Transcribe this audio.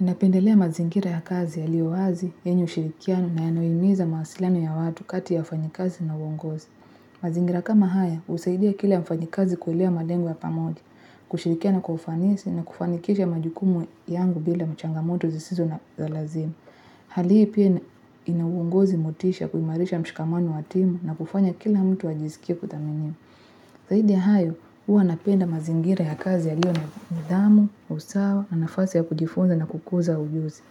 Ninapendelea mazingira ya kazi yaliyo wazi, yenye ushirikiano na yanayohimiza mawasiliano ya watu kati ya wafanyakazi na uongozi. Mazingira kama haya, husaidia kila mfanyakazi kuilea malengo ya pamoja, kushirikiana kwa ufanisi na kufanikisha majukumu yangu bila changamoto zisizo na lazima. Hali hii pia ina uongozi motisha kuimarisha mshikamano wa timu na kufanya kila mtu ajisikie kuthaminiwa. Zaidi ya hayo, huwa napenda mazingira ya kazi yaliyo na nidhamu, usawa, na nafasi ya kujifunza na kukuza ujuzi.